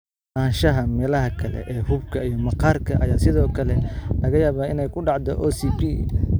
Ku lug lahaanshaha meelaha kale ee xuubka iyo maqaarka ayaa sidoo kale laga yaabaa inay ku dhacdo OCP.